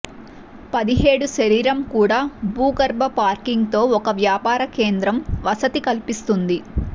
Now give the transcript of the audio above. పదిహేడు శరీరం కూడా భూగర్భ పార్కింగ్ తో ఒక వ్యాపార కేంద్రం వసతి కల్పిస్తుంది